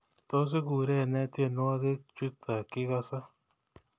Tos iguurene tyenwogik chuto kigase